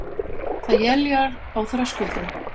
Það éljar á Þröskuldum